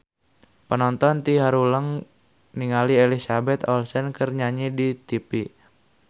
Panonton ting haruleng ningali Elizabeth Olsen keur nyanyi di tipi